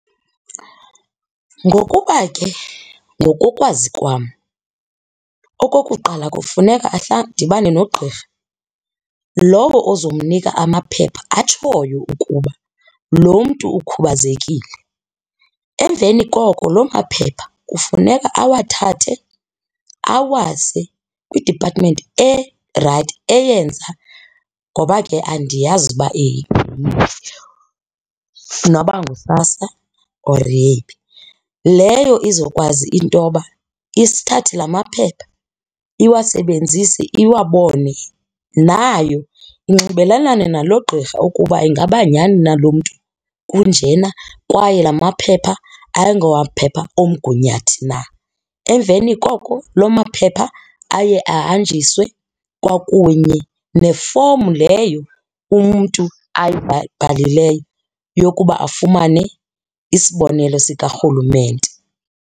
Ngokuba ke ngokokwazi kwam okokuqala kufuneka adibane nogqirha lowo uzomnika amaphepha atshoyo ukuba lo mntu ukhubazekile. Emveni koko lo maphepha kufuneka awathathe awase kwidipatimenti erayithi eyenza ngoba ke andiyazi noba nguSASSA or yeyiphi. Leyo izokwazi intoba isithathe la maphepha iwasebenzise iwabone. Nayo unxibelelane nalo gqirha ukuba ingaba nyani na lo mntu kunjena kwaye la maphepha ayingomaphepha omgunyathi na. Emveni koko lo maphepha aye ahanjiswe kwakunye nefomu leyo umntu ayibhalileyo yokuba afumane isibonelo sikarhulumente.